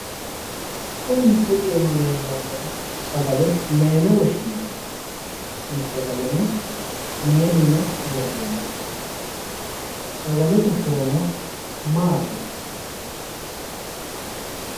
Kuni misilete iima leellannori sagale maayiine woshshinanni? tini sagaleno mayi iima no? sagalete horono maati?